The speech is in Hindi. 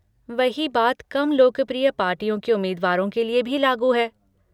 वही बात कम लोकप्रिय पार्टियों के उम्मीदवारों के लिए भी लागू है।